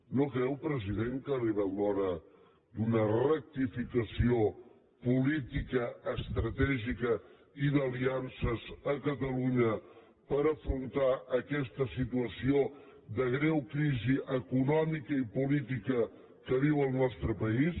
no creu president que ha arribat l’hora d’una rectificació política estratègica i d’aliances a catalunya per afrontar aquesta situació de greu crisi econòmica i política que viu el nostre país